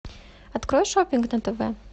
открой шопинг на тв